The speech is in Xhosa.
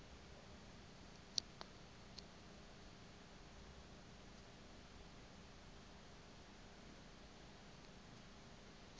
ephantsi kwakho xa